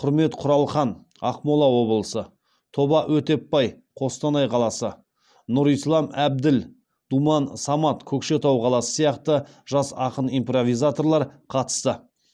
құрмет құралхан ақмола облысы тоба өтепбай қостанай қаласы нұрислам әбділ думан самат көкшетау қаласы сияқты жас ақын импровизаторлар қатысты